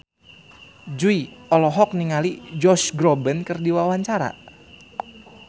Jui olohok ningali Josh Groban keur diwawancara